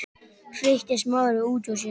hreytti Smári út úr sér.